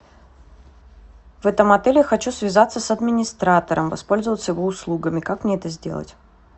в этом отеле хочу связаться с администратором воспользоваться его услугами как мне это сделать